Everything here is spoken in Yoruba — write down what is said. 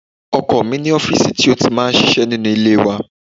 Ọkọ mi ní ọfísì ti ó ti máa ń ṣiṣẹ́ nínú ilé wa